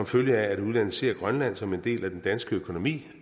følge af at udlandet ser grønland som en del af den danske økonomi